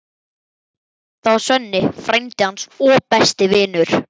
Það var Svenni, frændi hans og besti vinur.